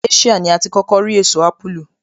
Asia ní a ti kókó rí èso ápùlù